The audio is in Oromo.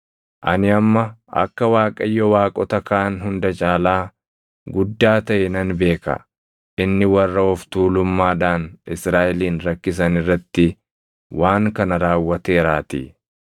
Ani amma akka Waaqayyo waaqota kaan hunda caalaa guddaa taʼe nan beeka; inni warra of tuulummaadhaan Israaʼelin rakkisan irratti waan kana raawwateeraatii.”